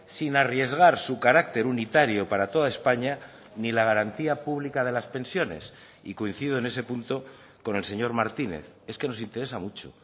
sin arriesgar su carácter unitario para toda españa ni la garantía publica de las pensiones y coincido en ese punto con el señor martínez es que nos interesa mucho